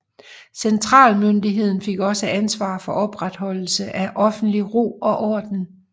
Centralmyndigheden fik også ansvar for opretholdelse af offentlig ro og orden